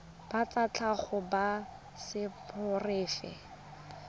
ba tsa tlhago ba seporofe